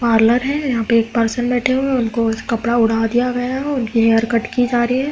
Parlour है। यहाँ पे एक पर्सन बैठे हुए हैं। उनको एक कपड़ा ओढा दिया गया है। उनकी हेयर कट की जा रही है।